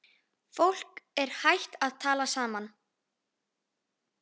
Fólk er hætt að tala saman.